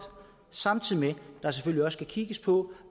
samtidig med at der selvfølgelig skal kigges på